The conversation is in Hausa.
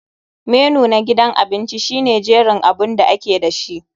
Menu na gidan abinci shine jerin abun da ake dashi.